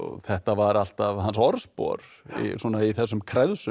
þetta var alltaf hans orðspor í þessum kreðsum